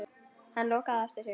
Hann lokar á eftir sér.